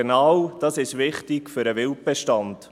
Genau diese sind wichtig für den Wildbestand.